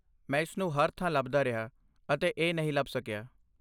ਮੈਂ ਇਸ ਨੂੰ ਹਰ ਥਾਂ ਲੱਭਦਾ ਰਿਹਾ ਅਤੇ ਇਹ ਨਹੀਂ ਲੱਭ ਸਕਿਆ